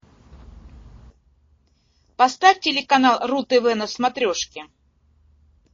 поставь телеканал ру тв на смотрешке